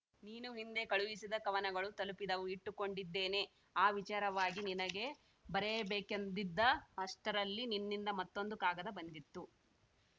ನೀನು ಹಿಂದೆ ಕಳುಹಿಸಿದ ಕವನಗಳು ತಲುಪಿದವು ಇಟ್ಟುಕೊಂಡಿದ್ದೇನೆ ಆ ವಿಚಾರವಾಗಿ ನಿನಗೆ ಬರೆಯಬೇಕೆಂದಿದ್ದ ಅಷ್ಟರಲ್ಲಿ ನಿನ್ನಿಂದ ಮತ್ತೊಂದು ಕಾಗದ ಬಂದಿತು